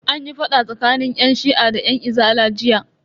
Anyi fada tsakanin yan shi'a da yan izala jiya.